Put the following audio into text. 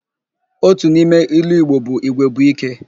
Otu n'ime ilu Igbo bụ 'Igwe bụ íké'.